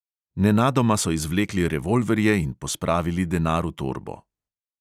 Nenadoma so izvlekli revolverje in pospravili denar v torbo.